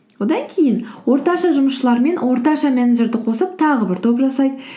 одан кейін орташа жұмысшылар мен орташа менеджерді қосып тағы бір топ жасайды